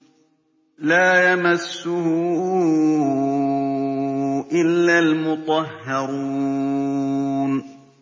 لَّا يَمَسُّهُ إِلَّا الْمُطَهَّرُونَ